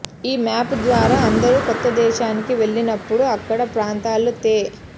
ఈ మ్యాప్ ద్వారా అందరూ కొత్త దేశానికి వెళ్లినప్పుడు అక్కడ ప్రాంతాలను తె